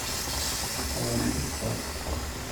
абха